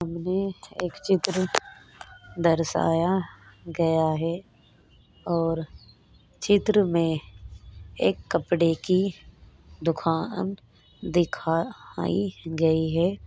सामने एक चित्र दर्शाया गया है और चित्र मे एक कपड़े की दुकान दिखाई गई है।